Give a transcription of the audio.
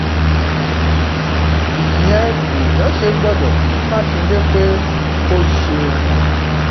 ìyẹn lèèyàn ṣe gbọdọ kí mákindé pé ó ṣeun